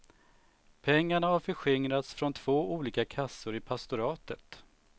Pengarna har förskingrats från två olika kassor i pastoratet.